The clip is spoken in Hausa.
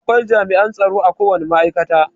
Akwai jami'an tsaro akowane ma'aikata.